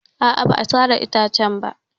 A'a, ba a sare itacen ba.